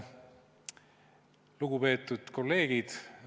Lugupeetud kolleegid!